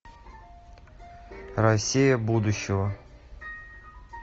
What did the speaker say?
россия будущего